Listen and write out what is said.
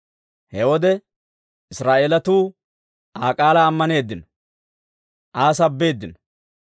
He wode Israa'eelatuu Aa k'aalaa ammaneeddino; Aa sabbeeddino.